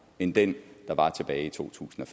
end den der var tilbage i totusinde